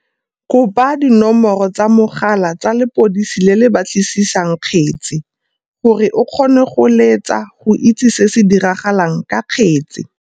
Kopa dinomoro tsa mogala tsa lepodisi le le batlisisang kgetse, gore o kgone go letsa go itse se se diragalang ka kgetse.